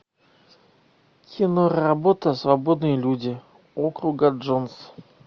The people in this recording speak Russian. киноработа свободные люди округа джонс